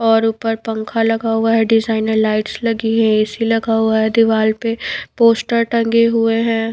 और ऊपर पंखा लगा हुआ है डिजाइनर लाइट्स लगी है एसी लगा हुआ है दीवार पे पोस्टर टंगे हुए है।